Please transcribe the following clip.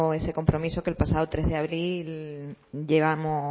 ese compromiso que el pasado tres de abril llevamos